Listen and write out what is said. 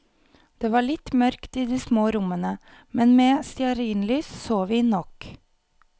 Det var litt mørkt i de små rommene, men med stearinlys så vi nok.